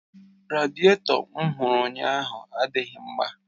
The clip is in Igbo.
Radiéto m hụrụ ụnyaahụ adịghị mma